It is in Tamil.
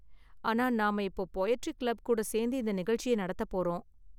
ஆனா, நாம இப்போ போயட்ரி கிளப் கூட சேர்ந்து இந்த நிகழ்ச்சியை நடத்த போறோம்.